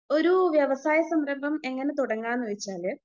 ഒരു വ്യവസായ സംരംഭം എങ്ങനെ തുടങ്ങാന്ന് വെച്ചാല്